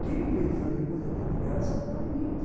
Quem me vê fazer coisa de criança, não admite.